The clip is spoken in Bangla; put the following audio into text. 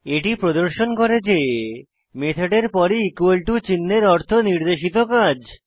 এটি প্রদর্শন করে যে মেথডের পরে ইকুয়াল টো চিন্হের অর্থ নির্দেশিত কাজ